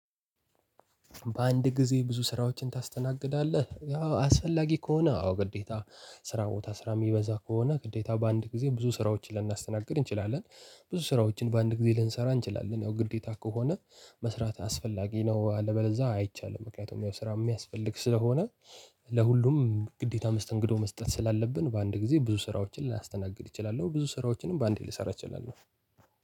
በአንድ ጊዜ ብዙ ስራዎችን ታስተናግዳለህ አስፈላጊ ከሆነ አዎ ግዴታ ስራ ቦታ ስራ የሚበዛ ከሆነ ግዴታ በአንድ ጊዜ ብዙ ስራዎችን ልናስተናግድ እንችላለን። ብዙ ስራዎችን በአንድ ጊዜ ልንሰራ እንችላለን ያው ግዴታ ከሆነ። መስራት አስፈላጊ ነው አለበለዛ አይቻልም ምክንያቱም ያው ስራ የሚያስፈልግ ስለሆነ። ለሁሉም ግዴታ መስተንግዶ መስጠት ስላለብን በአንድ ጊዜ ብዙ ስራዎችን ላስተናግድ እችላለሁ። ብዙ ስራዎችንም በአንዴ ልሰራ እችላለሁ።